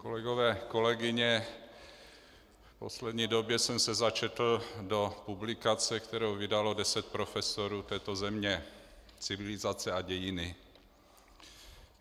Kolegové, kolegyně, v poslední době jsem se začetl do publikace, kterou vydalo deset profesorů této země, Civilizace a dějiny.